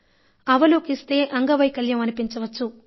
అవలోకిస్తే అంగవైకల్యం అనిపించవచ్చు